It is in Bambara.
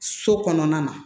So kɔnɔna na